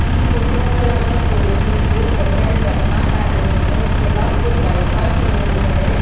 ಈ ಫೋಟೊ ಒಳಗ ತೋರಿಸುವುದು hotel Ratna palace Solapur bypass road ಕಡೆ.